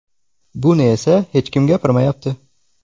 Buni esa hech kim gapirmayapti.